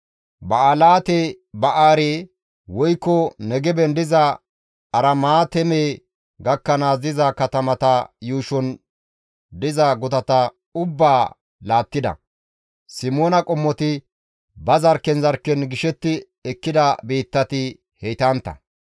Ba7alaate-Ba7eere woykko Negeben diza Aramaateeme gakkanaas diza katamata yuushon diza gutata ubbaa laattida. Simoona qommoti ba zarkken zarkken gishetti ekkida biittati heytantta.